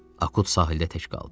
Akut sahildə tək qaldı.